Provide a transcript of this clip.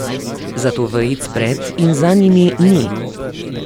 Zato vejic pred in za njimi ni.